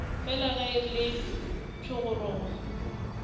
fela ge e le thogorogo